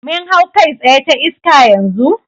Mun hau kai tsaye ta iska yanzu?